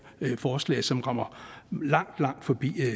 forslag som rammer langt langt forbi